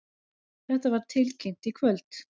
Þetta var tilkynnt í kvöld